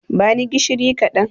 Bani gishiri kaɗan